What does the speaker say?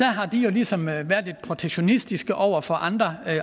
har jo ligesom været lidt protektionistiske over for andre